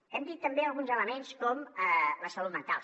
hem dit també alguns elements com la salut mental